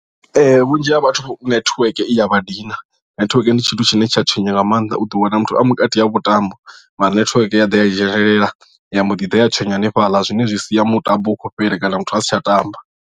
Vhunzhi ha vhathu netiweke i ya vha dina netiweke ndi tshithu tshine tsha tswenya nga maanḓa u ḓo wana muthu a vhukati ha mutambo mara netiweke ya ḓa ya dzhenelela ya mbo ḓi ḓa ya tswenya hanefhaḽa zwine zwi sia mutambo u khou fhela kana muthu asi tsha tamba.